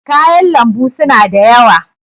kayan lambu suna da yawa